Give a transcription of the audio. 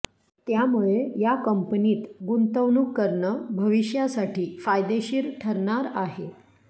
त्यामुळे या कंपनीत गुंतवणूक करणं भविष्यासाठी फायदेशीर ठरणार आहे